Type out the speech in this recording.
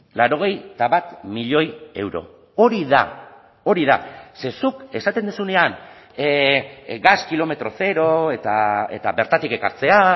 laurogeita bat milioi euro hori da hori da ze zuk esaten duzunean gas kilometro zero eta bertatik ekartzea